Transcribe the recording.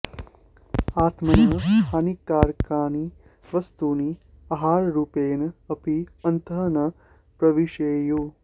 आत्मनः हानिकारकाणि वस्तूनि आहाररूपेण अपि अन्तः न प्रविशेयुः